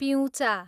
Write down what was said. पिउँचा